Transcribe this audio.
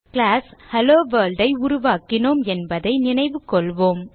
class HelloWorld ஐ உருவாக்கினோம் என்பதை நினைவு கொள்வோம்